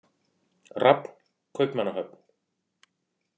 Rafn, Kaupmannahöfn.